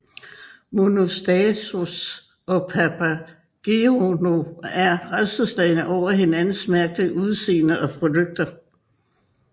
Monostatos og Papageno er rædselsslagne over hinandens mærkelige udseende og flygter